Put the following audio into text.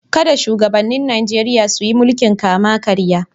Kada shugabannin Najeriya su yi mulkin kama-karya.